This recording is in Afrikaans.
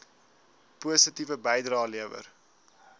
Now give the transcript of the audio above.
positiewe bydrae lewer